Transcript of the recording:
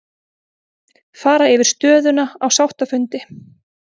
Fara yfir stöðuna á sáttafundi